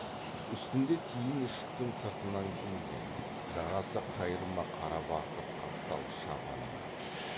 үстінде тиін ішіктің сыртынан киілген жағасы қайырма қара барқыт қаптал шапаны бар